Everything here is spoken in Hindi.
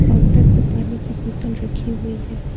काउंटर पे पानी की बोतल रखी हुई है।